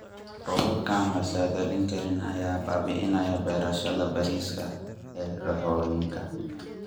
Roobabka aan la saadaalin karin ayaa baabi�inaya beerashada bariiska ee dooxooyinka.